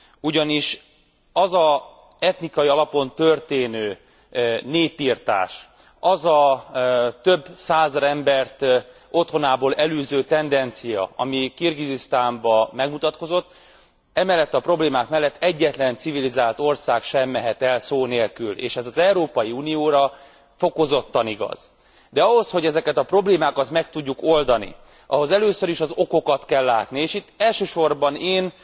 Ugyanis az az etnikai alapon történő népirtás, az a több százezer embert otthonából elűző tendencia, ami Kirgizisztánban megmutatkozott, emellett a problémák mellett egyetlen civilizált ország sem mehet el szó nélkül, és ez az Európai Unióra fokozottan igaz. De ahhoz, hogy ezeket a problémákat meg tudjuk oldani, ahhoz először is az okokat kell látni, és itt elsősorban én